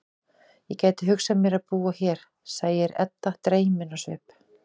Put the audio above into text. Ég gæti hugsað mér að búa hér, segir Edda dreymin á svip.